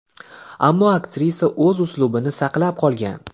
Ammo aktrisa o‘z uslubini saqlab qolgan.